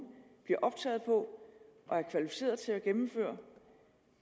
bliver optaget på og er kvalificeret til at gennemføre